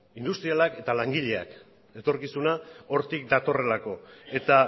industrialak eta langileak etorkizuna hortik datorrelako eta